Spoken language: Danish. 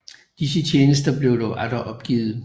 Disse tjenester blev dog atter opgivet